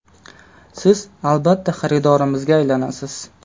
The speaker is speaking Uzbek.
Siz , albatta , xaridorimizga aylanasiz !